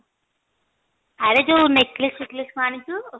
ଆରେ ଯୋଉ neckless ଫେକ୍ଳେଶ କଣ ଆଣିଛୁ